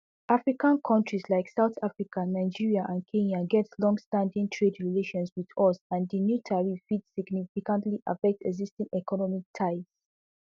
african kontris like south africa nigeria and kenya get longstanding trade relations wit us and di new tariffs fit significantly affect existing economic ties